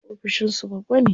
Wasu ofishin su babba ne.